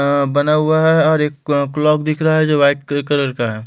बना हुआ है और एक क्लॉक दिख रहा है जो वाइट कलर का है।